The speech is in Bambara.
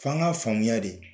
F'an ka faamuya de